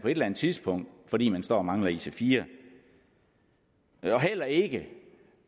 eller andet tidspunkt fordi man står og mangler ic4 heller ikke